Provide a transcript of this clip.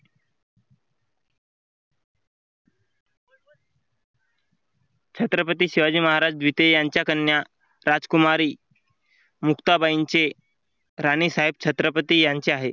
छत्रपती शिवाजी महाराज द्वितीय यांच्या कन्या राजकुमारी मुक्ताबाईंचे राणीसाहेब छत्रपती यांचे आहे.